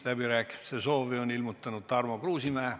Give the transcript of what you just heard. Läbirääkimiste soovi on ilmutanud Tarmo Kruusimäe.